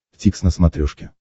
дтикс на смотрешке